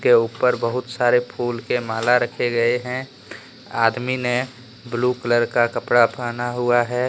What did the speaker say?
के ऊपर बहुत सारे फूल के माला रखे गए हैं आदमी ने ब्लू कलर का कपड़ा पहना हुआ है।